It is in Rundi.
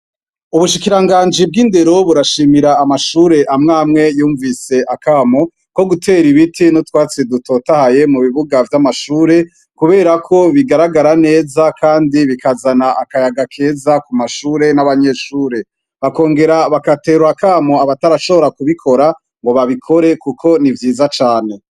Ubushikiranganji bw'Indero burashimira amashure amwe amwe yumvise akamo ko gutera ibiti n'utwatsi dutotahaye mu bibuga vy'amashure; kubera ko bigaragara neza kandi bikazana akayaga keza ku mashure n'abanyeshure. Bakongera bagatera akamo abatarashobora kubikora ngo babikore kuko ni vyiza cane.